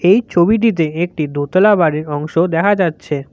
এই ছবিটিতে একটি দোতলা বাড়ির অংশ দেখা যাচ্ছে।